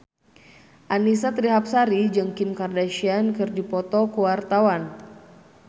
Annisa Trihapsari jeung Kim Kardashian keur dipoto ku wartawan